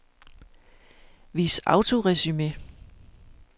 Vis autoresumé.